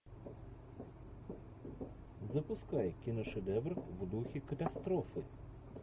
запускай киношедевр в духе катастрофы